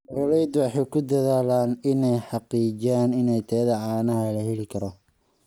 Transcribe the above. Beeraleydu waxay ku dadaalaan inay xaqiijiyaan in tayada caanaha la heli karo.